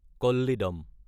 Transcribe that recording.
Kollidam